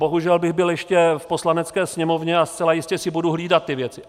Bohužel bych byl ještě v Poslanecké sněmovně a zcela jistě si budu hlídat ty věci.